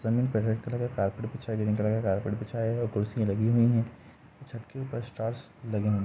जमीन पे red colour का कारपेट बिछा हुआ है और कुर्सी लगी हुई है छत के ऊपर स्टार्स लगे हुए है।